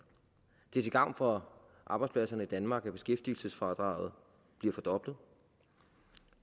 det er til gavn for arbejdspladserne i danmark at beskæftigelsesfradraget bliver fordoblet